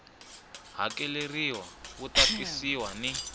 hakeleriwa wu ta tisiwa ni